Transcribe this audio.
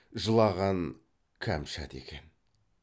жылаған кәмшат екен